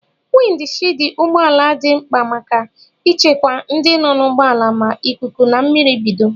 Windi shidi ụgbọala dị mkpa maka ichekwa ndị nọ n'ụgbọala ma ikuku na mmiri bido.